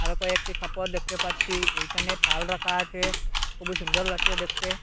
তারপর একটি খাপ ও দেখতে পাচ্ছি এইখানে থাল রাখা আছে খুবই সুন্দর লাগছে দেখতে।